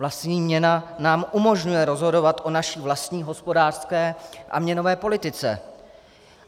Vlastní měna nám umožňuje rozhodovat o naší vlastní hospodářské a měnové politice.